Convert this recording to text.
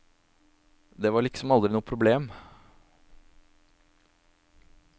Det var liksom aldri noe problem.